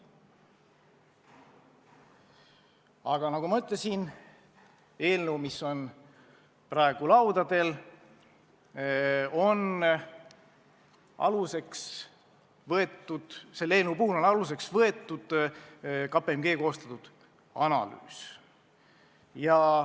Aga nagu ma ütlesin, praegu laudadel oleva eelnõu puhul on aluseks võetud KPMG koostatud analüüs.